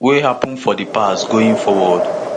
wey happun for di past going forward